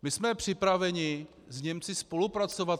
My jsme připraveni s Němci spolupracovat.